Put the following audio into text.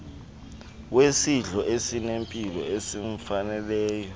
wesidlo esinempilo esimfaneleyo